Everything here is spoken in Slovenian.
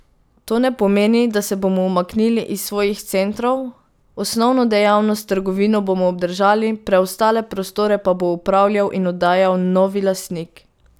To ne pomeni, da se bomo umaknili iz svojih centrov, osnovno dejavnost, trgovino, bomo obdržali, preostale prostore pa bo upravljal in oddajal novi lastnik.